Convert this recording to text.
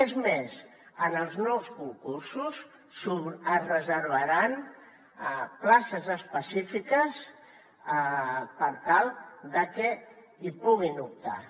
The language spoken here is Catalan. és més en els nous concursos es reservaran places específiques per tal que hi puguin optar